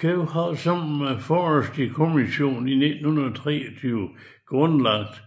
Kew har sammen med Forestry Commission i 1923 grundlagt